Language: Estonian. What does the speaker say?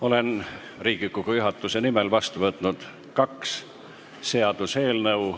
Olen Riigikogu juhatuse nimel vastu võtnud kaks seaduseelnõu.